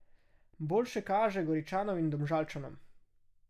Boljše kaže Goričanom in Domžalčanom.